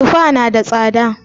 Tufa na da tsada